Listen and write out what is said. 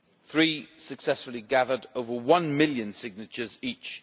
Three successfully gathered over one million signatures each.